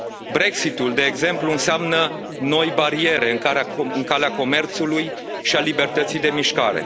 Brexit ul, de exemplu, înseamnă noi bariere în calea comerțului și a libertății de mișcare.